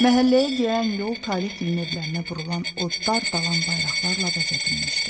Məhəlləyə girən yol Talehgilin evlərinə vurulan od-dar, dalan bayraqlarla bəzədilmişdi.